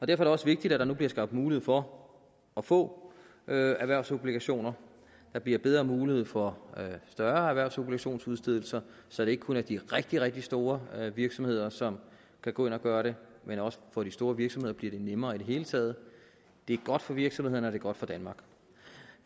det også vigtigt at der nu bliver skabt mulighed for at få erhvervsobligationer der bliver bedre mulighed for større erhvervsobligationsudstedelser så det ikke kun er de rigtig rigtig store virksomheder som kan gå ind og gøre det men også for de store virksomheder bliver det nemmere i det hele taget det er godt for virksomhederne og det er godt for danmark